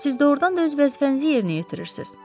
Siz doğrudan da öz vəzifənizi yerinə yetirirsiz.